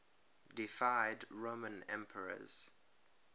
deified roman emperors